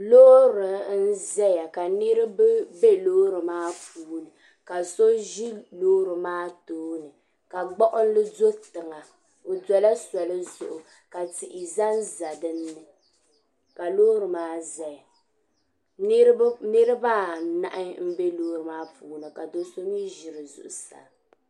sili miinsi ni gban sabila ka ɔ duhiri lɔɔri n kana ti paaki lɔɔri maa. ka sɔ shee ʒi lɔɔri maa nyee zuɣu ka ban kpalim maa ʒi lɔɔri maa puuni, vka gbuɣinli doya, la mɔri beni tihi ni dari ni flawese nima,